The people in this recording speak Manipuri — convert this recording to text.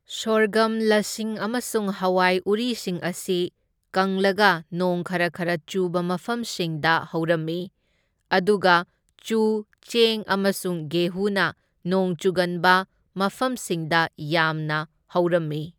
ꯁꯣꯔꯒꯝ, ꯂꯁꯤꯡ ꯑꯃꯁꯨꯡ ꯍꯋꯥꯏ ꯎꯔꯤꯁꯤꯡ ꯑꯁꯤ ꯀꯪꯂꯒ ꯅꯣꯡ ꯈꯔ ꯈꯔ ꯆꯨꯕ ꯃꯐꯝꯁꯤꯡꯗ ꯍꯧꯔꯝꯃꯤ, ꯑꯗꯨꯒ ꯆꯨ, ꯆꯦꯡ ꯑꯃꯁꯨꯡ ꯒꯦꯍꯨꯅ ꯅꯣꯡ ꯆꯨꯒꯟꯕ ꯃꯐꯝꯁꯤꯡꯗ ꯌꯥꯝꯅ ꯍꯧꯔꯝꯃꯤ꯫